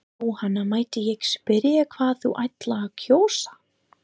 Jóhanna: Mætti ég spyrja hvað þú ætlar að kjósa?